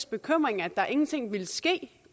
bekymring at der ingenting ville ske